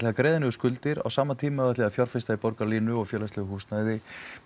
að greiða niður skuldir á sama tíma ætlið þið að fjárfesta í Borgarlínu og félagslegu húsnæði